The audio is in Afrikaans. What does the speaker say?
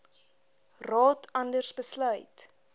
raad anders besluit